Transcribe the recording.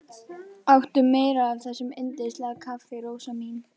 Áttu meira af þessu yndislega kaffi, Rósa mín?